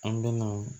An bɛna